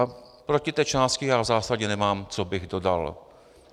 A proti té části já v zásadě nemám, co bych dodal.